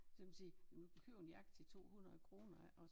Så kan man sige du kan købe en jakke til 200 kroner ikke også